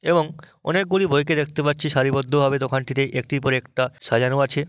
এবং অনেকগুলি বইকে দেখতে পাচ্ছি সারিবদ্ধ ভাবে দোকানটিতে একটির পর একটা সাজানো আছে।